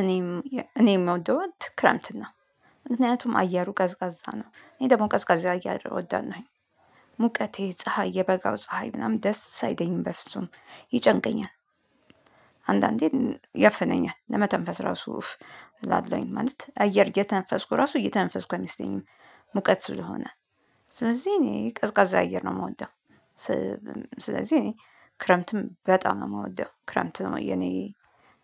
እኔም የምወደው ክረምት ነው። ምክንያቱም አየሩ ቀዝቃዛ ነው እኔ ደግሞ ቀዝቃዛ እወዳለው። ሙቀቴ ፀሀይ የበጋው ፀሀይ ምናምን ደስ አይደኝም በፍጹም ይጨንቀኛል። አንዳንዴ ያፍነኛል ለመተንፈስ ራሱ ያፍነኛል አየር እየተንፈስኩ ራሱ እየተንፈስኩ አይመስለኝም። ሙቀት ስለሆነ ስለዚህ እኔ ቀዝቃዛ አየር ነው የምወደው። ስለዚህ እኔ ክረምትን በጣም ነው የምወደው ክረምት ነው የኔ